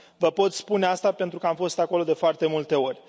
Vă pot spune asta pentru că am fost acolo de foarte multe ori.